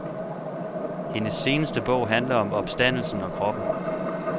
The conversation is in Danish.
Hendes seneste bog handler om opstandelsen og kroppen.